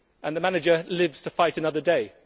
and the manager lives to fight another day.